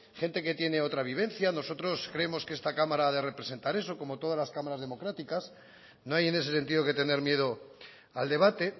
gente que tiene otra vivencia nosotros creemos que esta cámara debe representar eso como todas las cámaras democráticas no hay en ese sentido que tener miedo al debate